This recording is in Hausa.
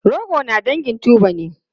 Rogo na dangin tuber ne.